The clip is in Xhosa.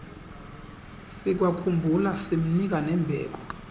sikwakhumbula simnika nembeko